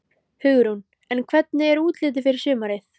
Hugrún: En hvernig er útlitið fyrir sumarið?